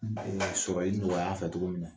N bee sɔrɔli nɔgɔy'a fɛ togo min na.